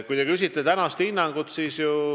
Te küsite hinnangut.